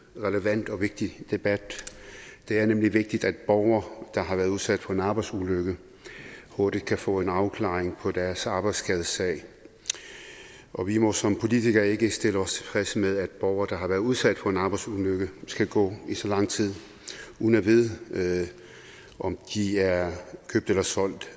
relevant og vigtig debat det er nemlig vigtigt at borgere der har været udsat for en arbejdsulykke hurtigt kan få en afklaring på deres arbejdsskadesag og vi må som politikere ikke stille os tilfredse med at borgere der har været udsat for en arbejdsulykke skal gå i så lang tid uden at vide om de er købt eller solgt